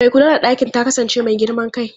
Mai kula da ɗakin ta kasance mai girman kai.